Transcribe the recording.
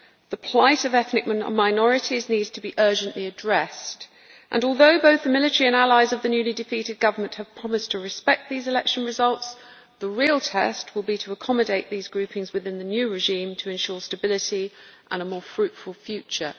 The plight of ethnic minorities needs to be urgently addressed and, although both the military and allies of the newly-defeated government have promised to respect these election results, the real test will be to accommodate these groupings within the new regime to ensure stability and a more fruitful future.